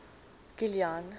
kilian